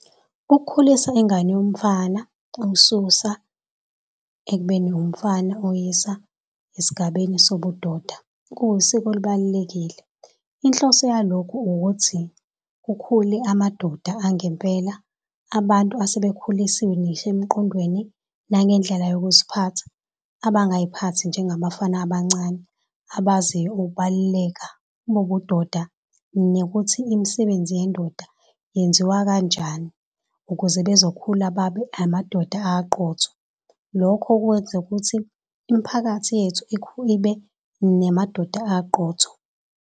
Ukukhulisa ingane yomfana umsusa ekubeni umfana umyisa esigabeni sobudoda kuwusiko olubalulekile. Inhloso yalokhu ukuthi kukhule amadoda angempela abantu asebekhulisiwe ngisho emqondweni nangendlela yokuziphatha abangaziphakathi njengabafana abancane abaziyo ukubaluleka bobudoda nokuthi imisebenzi yendoda yenziwa kanjani ukuze bezokhula babe amadoda abaqotho. Lokho kwenza ukuthi imiphakathi yethu ibe namadoda abaqotho.